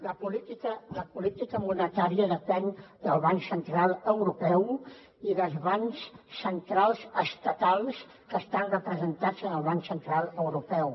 la política monetària depèn del banc central europeu i dels bancs centrals estatals que estan representats en el banc central europeu